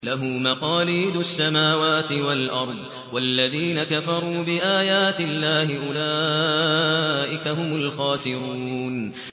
لَّهُ مَقَالِيدُ السَّمَاوَاتِ وَالْأَرْضِ ۗ وَالَّذِينَ كَفَرُوا بِآيَاتِ اللَّهِ أُولَٰئِكَ هُمُ الْخَاسِرُونَ